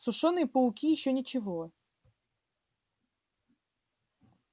сушёные пауки ещё ничего